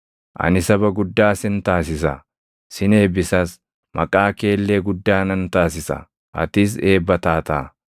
“Ani saba guddaa sin taasisa; sin eebbisas; maqaa kee illee guddaa nan taasisa; atis eebba taataa.